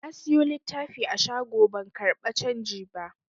Na siyo littafi a shago ban karɓa canji ba.